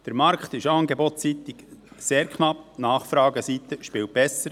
Der Markt ist angebotsseitig sehr knapp, die Nachfrageseite spielt besser.